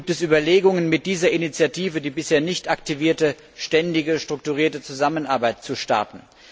Gibt es Überlegungen mit dieser Initiative die bisher nicht aktivierte ständige, strukturierte Zusammenarbeit zu starten?